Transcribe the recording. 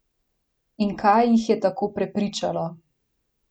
In kaj jih je tako prepričalo?